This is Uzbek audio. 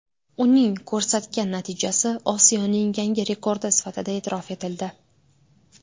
Uning ko‘rsatgan natijasi Osiyoning yangi rekordi sifatida e’tirof etildi.